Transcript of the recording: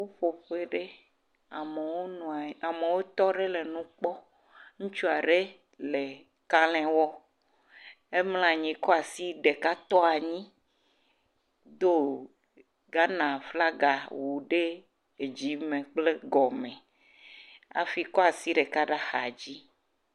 Ƒuƒoƒe aɖe, ameawo tɔ nɔ nu kpɔm. Ŋutsu aɖe le kalẽ wɔm. emlɔ anyi kɔ asi ɖeka tɔ anyi do Ghana flaga wu ɖe adzi me kple gɔme hafi kɔ asi ɖeka ɖe axa dzi.